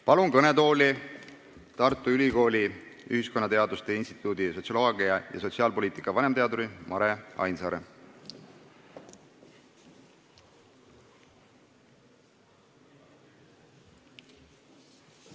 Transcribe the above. Palun kõnetooli Tartu Ülikooli ühiskonnateaduste instituudi sotsioloogia ja sotsiaalpoliitika vanemteaduri Mare Ainsaare!